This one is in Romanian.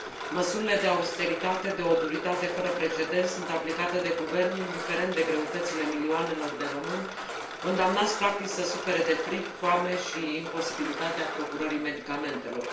Măsurile de austeritate, de o duritate fără precedent, sunt aplicate de guvern, indiferent de greutățile milioanelor de români, condamnați practic să sufere de frig, foame și imposibilitatea procurării medicamentelor.